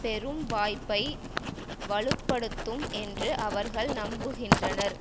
பெறும் வாய்ப்பை வலு படுத்தும் என்று அவர்கள் நம்புகின்றனர்